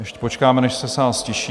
Ještě počkáme, než se sál ztiší.